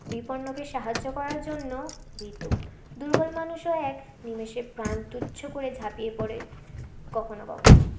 বিপন্ন কে সাহায্য করার জন্য বেতো দূর্বল মানুষ ও এক নিমেষে প্রান তুচ্ছ করে ঝাপিয়ে পরে কখনো কখনো